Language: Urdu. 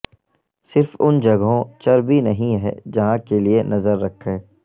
صرف ان جگہوں چربی نہیں ہے جہاں کے لئے نظر رکھیں